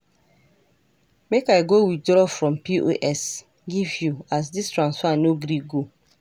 Make I go withraw from POS give you as this transfer no gree go.